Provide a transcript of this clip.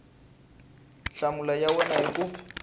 nhlamulo ya wena hi ku